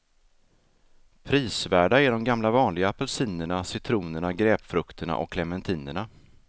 Prisvärda är de gamla vanliga apelsinerna, citronerna, grapefrukterna och clementinerna.